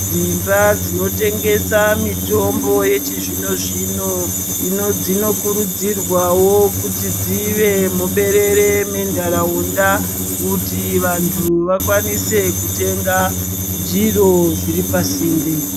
Dzimba dzinotengesa mitombo yechizvinozvino, dzinokurudzirwawo kuti dzive muberere mentaraunda kuti vantu vakwanise kutenga zviro zviripasinde.